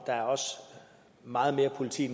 meget mere politi